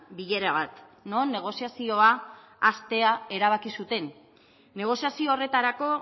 bilera bat non negoziazioa hastea erabaki zuten negoziazio horretarako